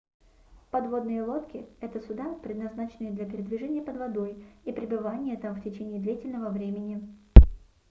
подводные лодки это суда предназначенные для передвижения под водой и пребывания там в течение длительного времени